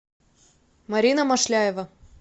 марина машляева